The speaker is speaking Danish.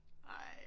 Ej